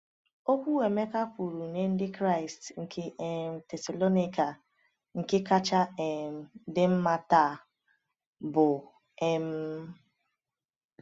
Okwu Emeka kwuru nye Ndị Kraịst nke um Thessalonika nke kacha um dị mma taa bụ? um